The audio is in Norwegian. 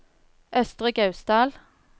Østre Gausdal